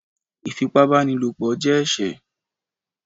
Ifípábanílopo jẹ ẹṣẹ